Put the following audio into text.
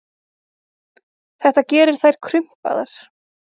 Þetta gerir þær krumpaðar.